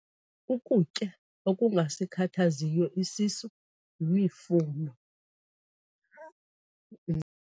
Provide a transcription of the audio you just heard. Ukutya okungasikhathaziyo isisu yimifuno.